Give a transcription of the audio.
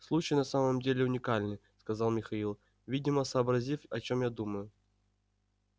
случай на самом деле уникальный сказал михаил видимо сообразив о чём я думаю